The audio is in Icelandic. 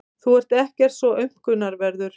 Þú ert ekkert svo aumkunarverður.